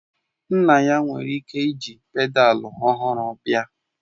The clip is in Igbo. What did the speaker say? Nna ya nwere ike jiri pedalu ọhụrụ bịa